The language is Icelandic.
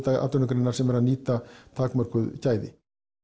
atvinnugreinar sem er að nýta takmörkuð gæði